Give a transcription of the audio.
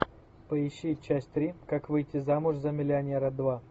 поищи часть три как выйти замуж за миллионера два